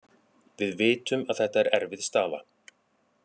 Við vitum að þetta er erfið staða.